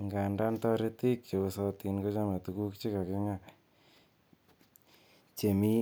Angandan toritik cheosotin kochome tuguk che kakinga chemi